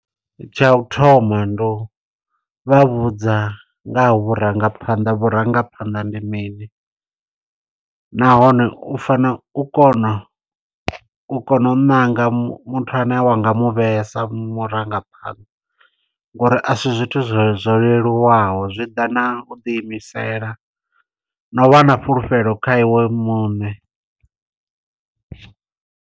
Tsha u thoma ndi u vha vhudza nga ha vhurangaphanḓa, vhurangaphanḓa ndi mini. Nahone u fana u kona, u kona u ṋanga muthu ane wa nga mu vhea sa murangaphanḓa, ngo uri a si zwithu zwo zwo leluwaho. Zwi ḓa na u ḓi imisela, na u vha na fhulufhelo kha iwe muṋe.